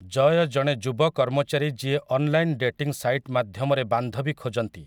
ଜୟ ଜଣେ ଯୁବ କର୍ମଚାରୀ ଯିଏ ଅନ୍‌ଲାଇନ୍‌‌ ଡେଟିଂ ସାଇଟ୍ ମାଧ୍ୟମରେ ବାନ୍ଧବୀ ଖୋଜନ୍ତି ।